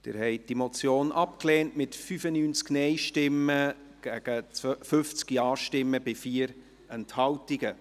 Sie haben diese Motion abgelehnt, mit 95 Nein- gegen 50 Ja-Stimmen bei 4 Enthaltungen.